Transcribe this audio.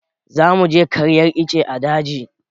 za mu je karyar ice a daji